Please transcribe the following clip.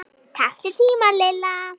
Taktu tímann Lilla!